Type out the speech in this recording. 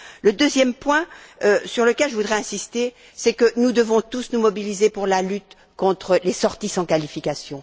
Le deuxième point sur lequel je voudrais insister est que nous devons tous nous mobiliser pour la lutte contre les sorties sans qualification.